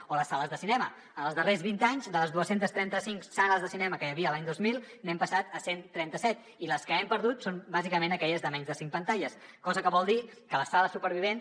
o les sales de cinema en els darrers vint anys de les dos cents i trenta cinc sales de cinema que hi havia l’any dos mil hem passat a cent i trenta set i les que hem perdut són bàsicament aquelles de menys de cinc pantalles cosa que vol dir que les sales supervivents